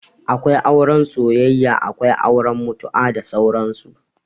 Akwai auren soyayya, Akwai auren mutu'a, da sauran su